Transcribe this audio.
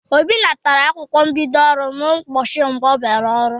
Obi natara akwụkwọ mbido ọrụ n'ụbọchị mbụ ọ bịara ọrụ.